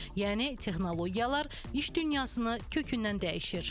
Yəni texnologiyalar iş dünyasını kökündən dəyişir.